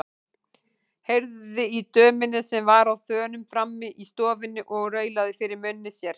Heyrði í dömunni sem var á þönum frammi í stofunni og raulaði fyrir munni sér.